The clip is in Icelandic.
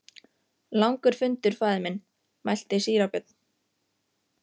Langur fundur faðir minn, mælti síra Björn.